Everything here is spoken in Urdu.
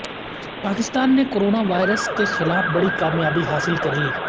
پاکستان نے کوروناوائرس کے خلاف بڑی کامیابی حاصل کرلی